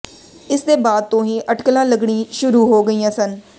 ਇਸ ਦੇ ਬਾਅਦ ਤੋਂ ਹੀ ਅਟਕਲਾਂ ਲੱਗਣੀ ਸ਼ੁਰੂ ਹੋ ਗਈਆਂ ਸਨ